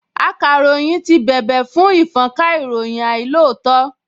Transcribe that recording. Akàròyìn ti bèbè fún ìfọ́nka ìròyìn àìlóòótọ́